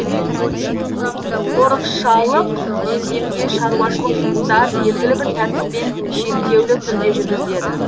қорықшалық белдемде шаруашылық жұмыстар белгілі бір тәртіппен шектеулі түрде жүргізіледі